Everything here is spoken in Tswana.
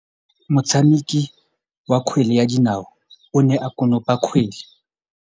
Motshameki wa kgwele ya dinaô o ne a konopa kgwele.